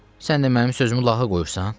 Sən də mənim sözümü lağa qoyursan?